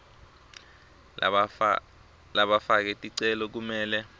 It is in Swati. labafake ticelo kumele